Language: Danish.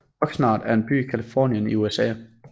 Oxnard er en by i Californien i USA